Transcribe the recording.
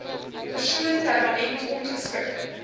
persoon permanent ongeskik